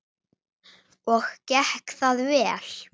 Og gekk það vel?